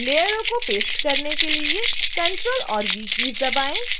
लेयरों को पेस्ट करने के लिए ctrl और v कीज़ दबाएं